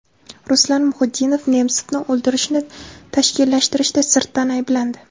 Ruslan Muhiddinov Nemsovni o‘ldirishni tashkillashtirishda sirtdan ayblandi.